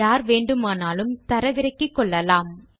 யார் வேண்டுமானாலும் தரவிறக்கிகொள்ளலாம்